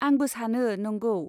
आंबो सानो, नंगौ।